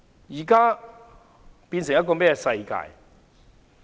現在變成了甚麼世界？